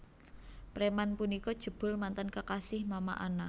Preman punika jebul mantan kekasih Mama Ana